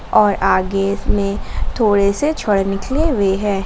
और आगे में थोड़े से छड़ निकले हुए हैं।